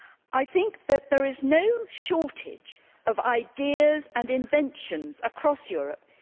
I think that there is no shortage of ideas and inventions across Europe.